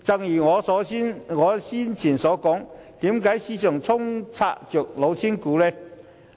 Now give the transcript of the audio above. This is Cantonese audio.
不過，正如我早前所說，市場充斥着"老千股"。